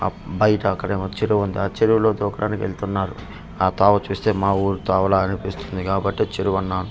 ఆ బయట అక్కడ ఏమో చెరువు ఉంది ఆ చెరువులో దూకడానికి వెళ్తున్నారు ఆ తోవ చూస్తే మా వూరి తోవలాగా అనిపిస్తుంది కాబట్టే చెరువు అన్నాను.